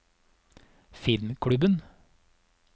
filmklubben